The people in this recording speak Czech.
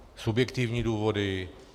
Subjektivní důvody?